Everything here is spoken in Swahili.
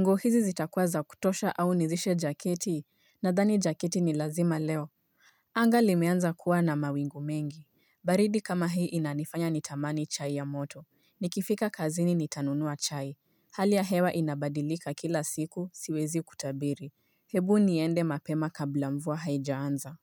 nguo hizi zitakuwa za kutosha au nizishe jaketi nadhani jaketi ni lazima leo Anga limeanza kuwa na mawingu mengi baridi kama hii inanifanya nitamani chai ya moto, nikifika kazini nitanunua chai. Hali ya hewa inabadilika kila siku, siwezi kutabiri Hebu niende mapema kabla mvua haejaanza.